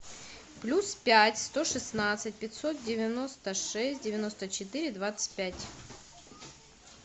плюс пять сто шестнадцать пятьсот девяносто шесть девяносто четыре двадцать пять